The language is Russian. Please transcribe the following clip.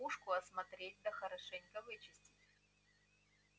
пушку осмотреть да хорошенько вычистить